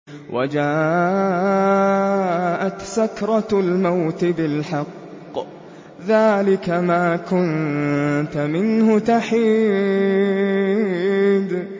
وَجَاءَتْ سَكْرَةُ الْمَوْتِ بِالْحَقِّ ۖ ذَٰلِكَ مَا كُنتَ مِنْهُ تَحِيدُ